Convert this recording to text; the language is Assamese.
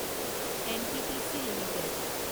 NTPC limited